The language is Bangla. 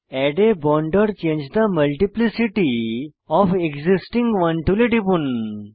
add a bond or change the multiplicity of existing one টুলে টিপুন